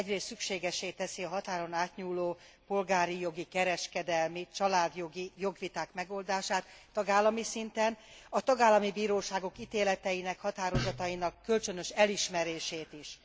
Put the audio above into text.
Ez egyrészt szükségessé teszi a határon átnyúló polgári jogi, kereskedelmi, családjogi jogviták megoldását tagállami szinten és a tagállami bíróságok ítéleteinek, határozatainak kölcsönös elismerését is.